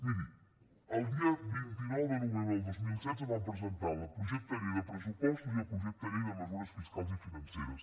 miri el dia vint nou de novembre del dos mil setze van presentar el projecte llei de pressupostos i el projecte llei de mesures fiscals i financeres